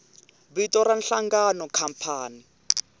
i vito ra nhlangano khampani